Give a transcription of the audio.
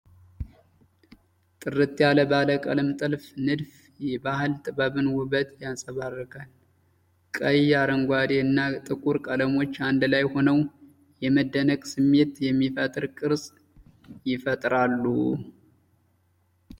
ጥርት ያለ ባለቀለም የጥልፍ ንድፍ የባህል ጥበብን ውበት ያንፀባርቃል። ቀይ፣ አረንጓዴ እና ጥቁር ቀለሞች አንድ ላይ ሆነው የመደነቅ ስሜት የሚፈጥር ቅርፅ ይፈጥራሉ።